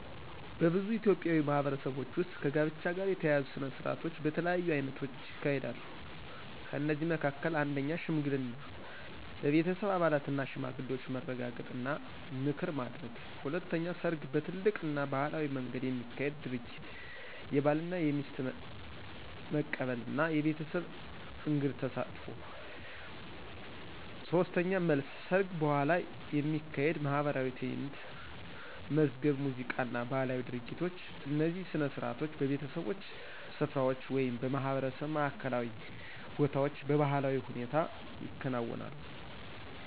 በብዙ ኢትዮጵያዊ ማህበረሰቦች ውስጥ ከጋብቻ ጋር የተያያዙ ሥነ ሥርዓቶች በተለያዩ አይነቶች ይካሄዳሉ። ከእነዚህ መካከል፦ 1. ሽምግልና – በቤተሰብ አባላትና ሽማግሌዎች መረጋገጥ እና ምክር ማድረግ። 2. ሰርግ – በትልቅ እና ባህላዊ መንገድ የሚካሄድ ድርጊት፣ የባልና የሚስት መቀበል እና የቤተሰብ እንግድ ተሳትፎ። 3. መልስ – ሰርግ በኋላ የሚካሄድ ማኅበራዊ ትዕይንት፣ መዝገብ ሙዚቃ እና ባህላዊ ድርጊቶች። እነዚህ ሥነ ሥርዓቶች በቤተሰቦች ስፍራዎች ወይም በማህበረሰብ ማዕከላዊ ቦታዎች በባህላዊ ሁኔታ ይከናወናሉ።